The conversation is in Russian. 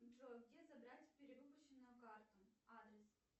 джой где забрать перевыпущенную карту адрес